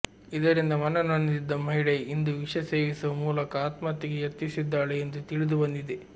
ಇದರಿಂದ ಮನನೊಂದಿದ್ದ ಮಹಿಳೆ ಇಂದು ವಿಷ ಸೇವಿಸುವ ಮೂಲಕ ಆತ್ಮಹತ್ಯೆಗೆ ಯತ್ನಿಸಿದ್ದಾಳೆ ಎಂದು ತಿಳಿದು ಬಂದಿದೆ